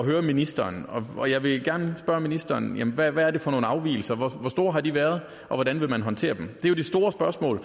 høre ministeren og jeg vil gerne spørge ministeren hvad er det for nogle afvigelser hvor store har de været og hvordan vil man håndtere dem det store spørgsmål